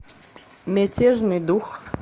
мятежный дух